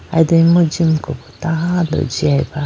ayi do imu jimuku bo tando jiyaba.